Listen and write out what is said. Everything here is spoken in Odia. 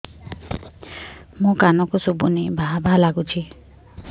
ମୋ କାନକୁ ଶୁଭୁନି ଭା ଭା ଲାଗୁଚି